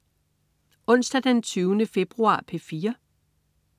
Onsdag den 20. februar - P4: